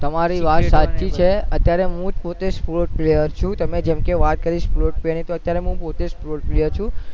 તમારી વાત સાચી છે અતયારે હું જ પોતે sports player છું તમે જેમકે વાત કરી sports player ની અત્યારે શુ sports player પોતે છું